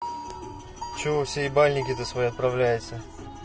че вы все ебальники свои отправляете